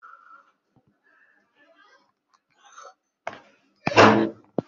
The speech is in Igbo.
Mmiri juru abọ ncha ahụ niile